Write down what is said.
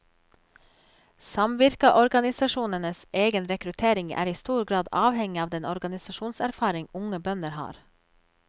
Samvirkeorganisasjonenes egen rekruttering er i stor grad avhengig av den organisasjonserfaring unge bønder har.